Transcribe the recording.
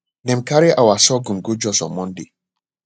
dem carry our sorghum go jos on monday